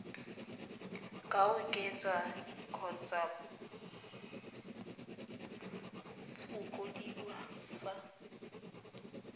ka oketswa kgotsa fokodiwa fa